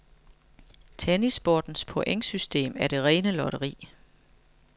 Tennissportens pointsystem er det rene lotteri.